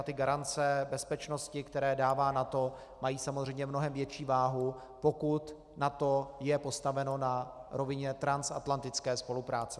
A ty garance bezpečnosti, které dává NATO, mají samozřejmě mnohem větší váhu, pokud je NATO postaveno na rovině transatlantické spolupráce.